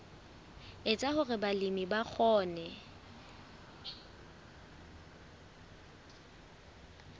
etsa hore balemi ba kgone